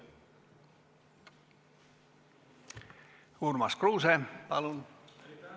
Urmas Kruuse, palun!